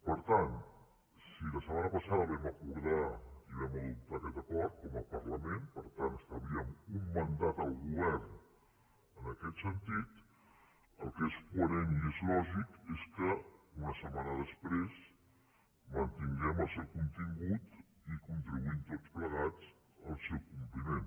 per tant si la setmana passada vam acordar i vam adoptar aquest acord com a parlament per tant esta·blíem un mandat al govern en aquest sentit el que és coherent i és lògic és que una setmana després mantin·guem el seu contingut i contribuïm tots plegats al seu compliment